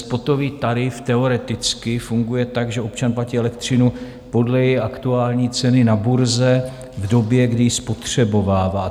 Spotový tarif teoreticky funguje tak, že občan platí elektřinu podle její aktuální ceny na burze v době, kdy ji spotřebovává.